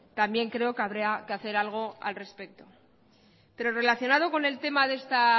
también creo que habrá que hacer algo al respecto pero relacionado con el tema de esta